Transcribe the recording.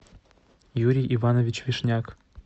юрий иванович вишняк